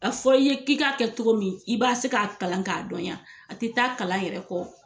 A fɔr'i ye k'i k'a kɛ cogo min i b'a se k'a kalan k'a dɔn yan a tɛ taa kalan yɛrɛ kɔ.